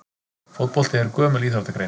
Fótbolti er gömul íþróttagrein.